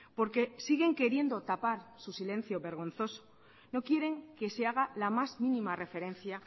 porque siguen queriendo tapar su silencio vergonzoso no quieren que se haga la más mínima referencia